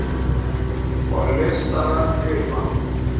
Og listaverk lifa.